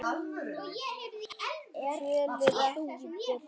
Tölur ekki birtar